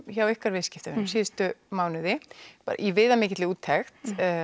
hjá ykkar viðskiptavinum síðustu mánuði í viðamikilli úttekt